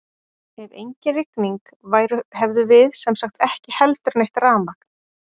ef engin rigning væru hefðum við sem sagt ekki heldur neitt rafmagn!